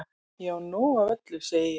Ég á nóg af öllu segi ég.